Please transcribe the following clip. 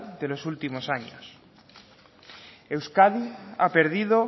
de los últimos años euskadi ha perdido